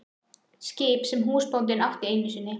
Skip sem húsbóndinn átti einu sinni.